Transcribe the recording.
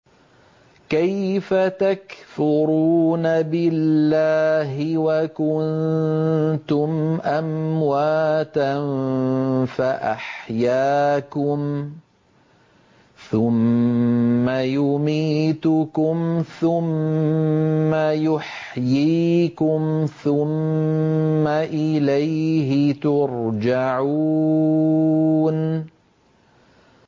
كَيْفَ تَكْفُرُونَ بِاللَّهِ وَكُنتُمْ أَمْوَاتًا فَأَحْيَاكُمْ ۖ ثُمَّ يُمِيتُكُمْ ثُمَّ يُحْيِيكُمْ ثُمَّ إِلَيْهِ تُرْجَعُونَ